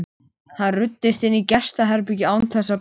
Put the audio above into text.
Hann ruddist inn í gestaherbergið án þess að banka.